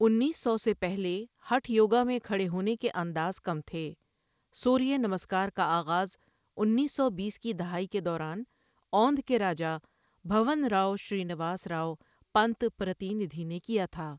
انیس سو سے پہلے، ہٹھ یوگا میں کھڑے ہونے کے انداز کم تھے، سوریہ نمسکار کا آغازانیس سو بیس کی دہائی کے دوران اوندھ کے راجا بھون راؤ شرینواس راؤ پنت پرتیندھی نے کیا تھا۔